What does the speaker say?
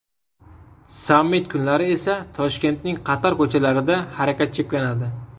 Sammit kunlari esa Toshkentning qator ko‘chalarida harakat cheklanadi .